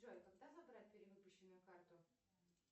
джой когда забрать перевыпущенную карту